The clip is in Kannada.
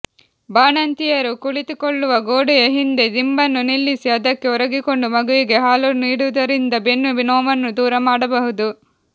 ಬಾಣಂತಿಯರು ಕುಳಿತುಕೊಳ್ಳುವ ಗೋಡೆಯ ಹಿಂದೆ ದಿಂಬನ್ನು ನಿಲ್ಲಿಸಿ ಅದಕ್ಕೆ ಒರಗಿಕೊಂಡು ಮಗುವಿಗೆ ಹಾಲು ನೀಡುವುದರಿಂದ ಬೆನ್ನು ನೋವನ್ನು ದೂರ ಮಾಡಬಹುದು